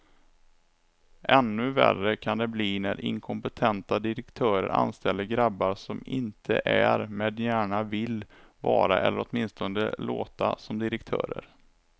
Ännu värre kan det bli när inkompetenta direktörer anställer grabbar som inte är, men gärna vill vara eller åtminstone låta som direktörer.